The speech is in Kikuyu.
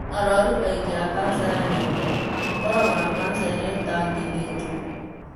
Arũaru aingĩ a kanca ya nyongo makoragũo na kanca ĩrĩa ĩtangĩthĩnjwo.